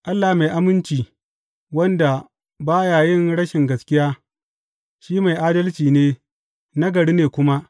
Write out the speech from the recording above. Allah mai aminci, wanda ba ya yin rashi gaskiya, shi mai adalci ne, nagari ne kuma.